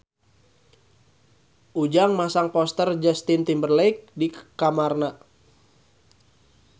Ujang masang poster Justin Timberlake di kamarna